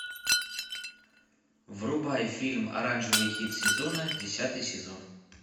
врубай фильм оранжевый хит сезона десятый сезон